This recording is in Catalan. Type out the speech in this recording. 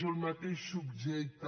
o el mateix subjecte